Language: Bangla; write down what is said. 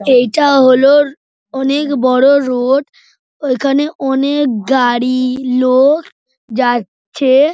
এইটা হল অনেক বড় রোড এখানে অনেক গাড়ি লোক যাচ্ছে-এ।